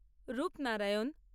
Rupnarayan